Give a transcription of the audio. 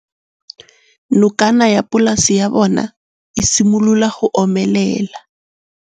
Nokana ya polase ya bona, e simolola go omelela.